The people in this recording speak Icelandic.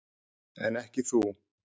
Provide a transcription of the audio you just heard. En ekki þú.